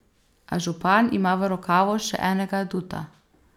A župan ima v rokavu še enega aduta.